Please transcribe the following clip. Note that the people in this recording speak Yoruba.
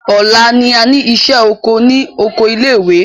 Ọ̀la ni a ní ìṣẹ́ oko ní oko ilé ìwé.